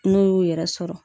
N'u y'u yɛrɛ sɔrɔ